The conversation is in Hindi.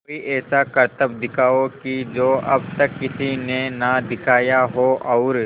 कोई ऐसा करतब दिखाओ कि जो अब तक किसी ने ना दिखाया हो और